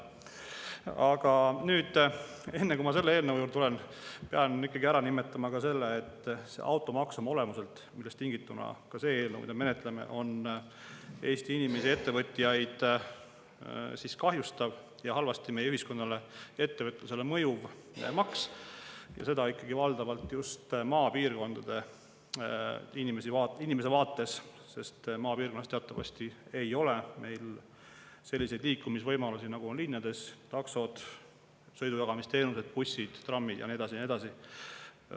Aga enne, kui ma selle eelnõu juurde tulen, pean ikkagi ära nimetama selle, et automaks, millest on tingitud ka see eelnõu, mida me praegu menetleme, on oma olemuselt Eesti inimesi ja ettevõtjaid kahjustav ning halvasti meie ühiskonnale ja ettevõtlusele mõjuv maks, seda valdavalt just maapiirkonna inimese vaates, sest maapiirkonnas teatavasti ei ole meil selliseid liikumisvõimalusi, nagu on linnades: taksod, sõidujagamisteenused, bussid, trammid ja nii edasi ja nii edasi.